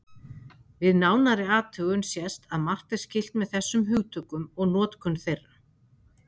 Við nánari athugun sést að margt er skylt með þessum hugtökum og notkun þeirra.